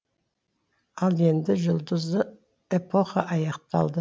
ал енді жұлдызды эпоха аяқталды